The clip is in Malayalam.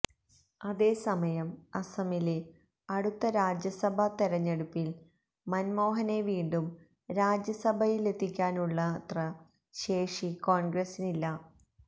അതേസമയം അസമിലെ അടുത്ത രാജ്യസഭാ തെരഞ്ഞെടുപ്പില് മന്മോഹനെ വീണ്ടും രാജ്യസഭയിലെത്തിക്കാനുള്ളത്ര ശേഷി കോണ്ഗ്രസിനില്ല